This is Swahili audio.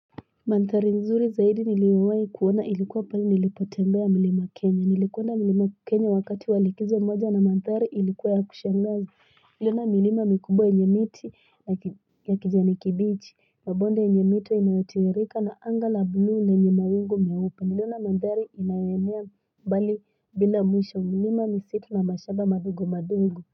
Manthari nzuri zaidi niliwahi kuona ilikuwa pahali nilipotembea milima kenya niliuona milima kenya wakati walikizo moja na manthari ilikuwa ya kushangaza niliona milima mikubwa yenye miti ya kijani kibichi mabonde yenye mito inayotiririka na anga la blue lenye mawingu meupe niliona manthari inayoenea mbali bila mwisho milima misitu na mashamba madogo madogo.